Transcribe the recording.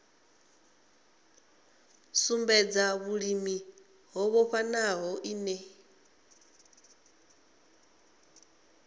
sumbedza vhulimi ho vhofhanaho ine